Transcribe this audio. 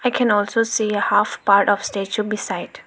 we can also see a half part of statue beside.